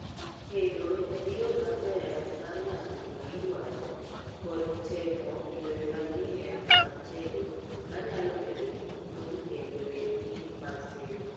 tedo en yoo maber mar wacho gimaidwaro kod temo yore manyien mag tedo manyalo medo ni puonj e yore ni mag tedo